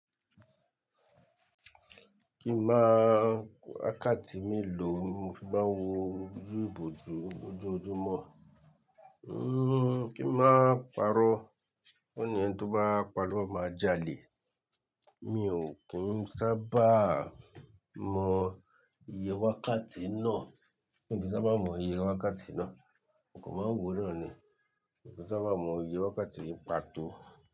Kí máa wákàtí mi lò mo fi máa ń wo ojú ibò ojú ojúmọ̀. Kí máa pàrọ́, kó ni ẹni tí ó bá parọ́ máa jalè. Mi ò kí ń sábà mọ iye wákàtí náà. Mi ò kí ń sábà mọ iye wákàtí náà. Mo kan maa n wo náà ni. Mi ò kí ń sábà mọ iye wákàtí pàtó.